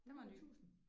100000?